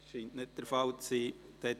– Das scheint nicht der Fall zu sein.